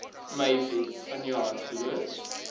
mei vanjaar geloods